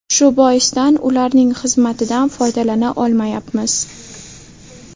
Shu boisdan ularning xizmatidan foydalana olmayapmiz.